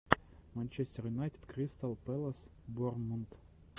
манчестер юнайтед кристал пэлас бор мунд